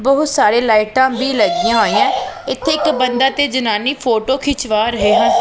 ਬਹੁਤ ਸਾਰੇ ਲਾਈਟਾਂ ਭੀ ਲੱਗਿਆਂ ਹੋਈਐਂ ਇੱਕ ਇੱਕ ਬੰਦਾ ਤੇ ਜਨਾਨੀ ਫੋਟੋ ਖਿੰਕਵਾ ਰਹੇ ਹਨ।